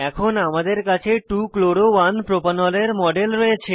এখন আমাদের কাছে 2 chloro 1 প্রোপানল এর মডেল রয়েছে